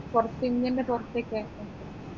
പുറത്തു ഇന്ത്യൻറെ പുറത്തേക്ക്